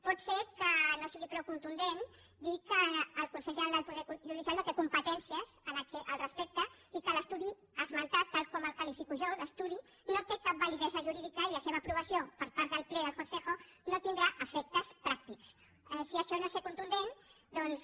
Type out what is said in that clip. pot ser que no sigui prou contundent dir que el consell general del poder judicial no té competències al respecte i que l’estudi esmentat tal com el qualifico jo d’estudi no té cap validesa jurídica i la seva aprovació per part del ple del consejoaixò no és ser prou contundent doncs